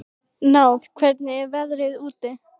Náð, hvernig er veðrið úti?